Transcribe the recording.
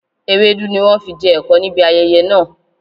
Ewédú ni wọn fi jẹ ẹ̀kọ níbi ayẹyẹ náà